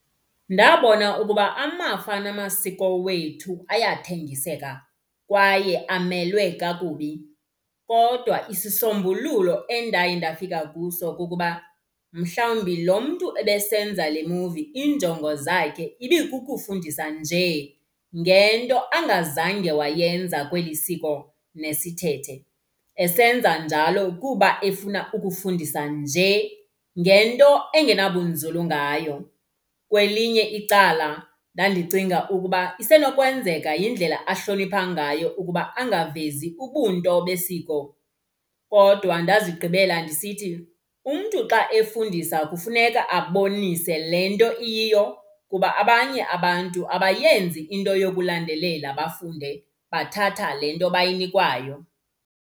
Ndabona ukuba amafa namasiko wethu ayathengiseka kwaye amelwe kakubi. Kodwa isisombululo endaye ndafika kuso kukuba mhlawumbi lo mntu ebesenza le movie iinjongo zakhe ibikukufundisa nje ngento angazange wayenza kweli siko nesithethe. Esenza njalo kuba efuna ukufundisa njee ngento engenabunzulu ngayo. Kwelinye icala ndandicinga ukuba isenokwenzeka yindlela ahlonipha ngayo ukuba angavezi ubunto besiko. Kodwa ndazigqibela ndisithi umntu xa efundisa kufuneka abonise le nto iyiyo. Kuba abanye abantu abayenzi into yokulandelela bafunde, bathatha le nto bayinikwayo.